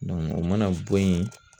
o mana bɔ yen